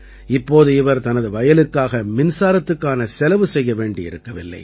இப்போது இவர் தனது வயலுக்காக மின்சாரத்துக்கான செலவு செய்ய வேண்டியிருக்கவில்லை